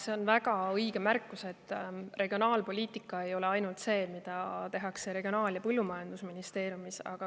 See on väga õige märkus, et regionaalpoliitika ei ole ainult see, mida tehakse Regionaal- ja Põllumajandusministeeriumis.